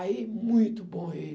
Aí, muito bom ele.